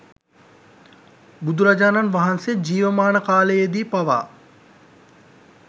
බුදුරජාණන් වහන්සේ ජීවමාන කාලයේදී පවා